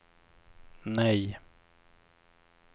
nej